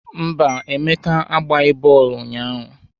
Mba, Emeka agbaghị bọọlụ ụnyahụ